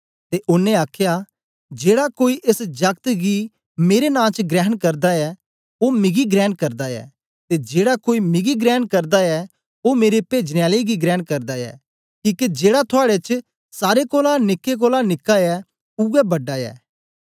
ते ओनें आखया जेड़ा कोई एस जागत गी मेरे नां च ग्रहण करदा ऐ ओ मिगी ग्रहण करदा ऐ ते जेड़ा कोई मिगी ग्रहण करदा ऐ ओ मेरे पेजन आले गी ग्रहण करदा ऐ किके जेड़ा थुआड़े च सारे कोलां निकें कोलां निका ऐ उवै बड़ा ऐ